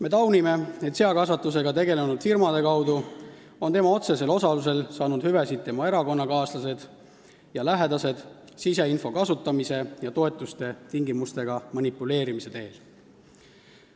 Me taunime, et seakasvatusega tegelenud firmade kaudu on tema otsesel osalusel saanud hüvesid tema erakonnakaaslased ja lähedased, seda siseinfo kasutamise ja toetuste tingimustega manipuleerimise teel.